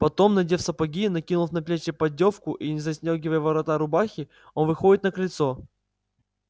потом надев сапоги накинув на плечи поддёвку и не застёгивая ворота рубахи он выходит на крыльцо